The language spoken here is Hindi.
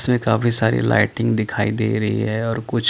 इसमें काफी सारी लाइटिंग दिखाई दे रही है और कुछ --